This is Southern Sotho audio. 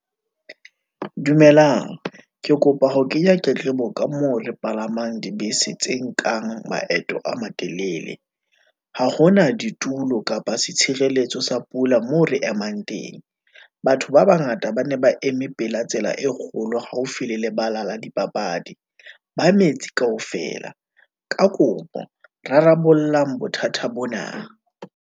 Dumelang, ke kopa ho kenya tletlebo ka moo re palamang dibese tse nkang maeto a matelele, ha ho na ditulo kapa setshireletso sa pula moo re emang mang teng. Batho ba bangata ba ne ba eme pela tsela e kgolo haufi le lebala la dipapadi, ba metsi kaofela, ka kopo rarabolla bothata bona.